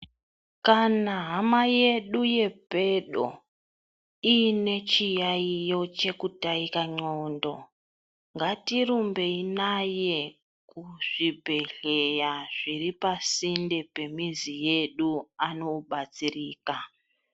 Kana hama yedu yepedo, iine chiyayiyo chekutaika ngqondo, ngatirumbei naye, kuzvibhedhlera zviri pasinde pemizi yedu andobatsirika.